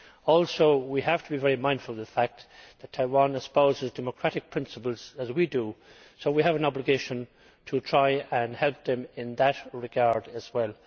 Also, we have to be very mindful of the fact that Taiwan espouses democratic principles, as we do, so we have an obligation to try and help it in that regard as well.